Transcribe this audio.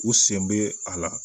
U sen bɛ a la